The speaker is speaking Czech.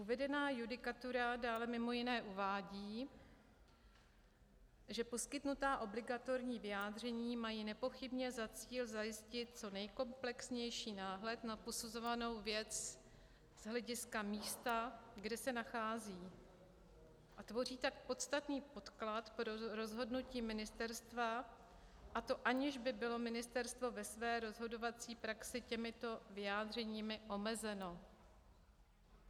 Uvedená judikatura dále mimo jiné uvádí, že poskytnutá obligatorní vyjádření mají nepochybně za cíl zajistit co nejkomplexnější náhled na posuzovanou věc z hlediska místa, kde se nachází, a tvoří tak podstatný podklad pro rozhodnutí ministerstva, a to aniž by bylo ministerstvo ve své rozhodovací praxi těmito vyjádřeními omezeno.